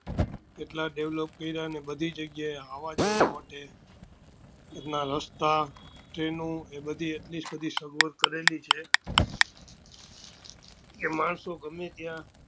એટલા develop કર્યા ને આવવા જવા માટે રસ્તા train એ બધી એટલે સુધી સગવડ કરેલી છે કે માણસો ગમે ત્યાં